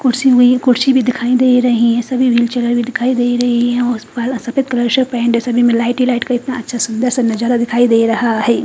खुर्ची नहीं खुर्ची भी दिखाई दे रही है सभी निचे वाली दिखाई दे रही है सुंदर सा नज़ारा दिखाई दे रहा है।